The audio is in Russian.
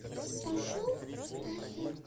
пошёл нахер